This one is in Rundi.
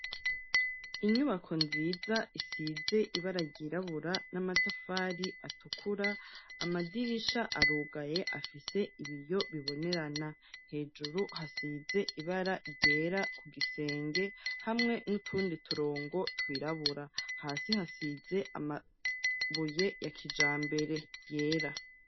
Inyubako nziza isize ibara ryirabura n'amatafari atukura, amadirisha arugaye afise ibiyo bibonerana. Hejuru hasize ibara ryera ku gisenge hamwe n'utundi turongo twirabura. Hasi hasize amabuye ya kijambere yera.